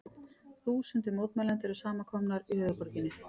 Þúsundir mótmælenda eru samankomnar í höfuðborginni